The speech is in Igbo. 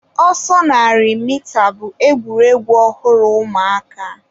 ọsọ narị mita bụ egwuregwu ọhụrụ ụmụaka.